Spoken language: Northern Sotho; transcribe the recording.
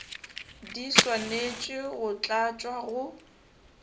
di swanetše go tlatšwa go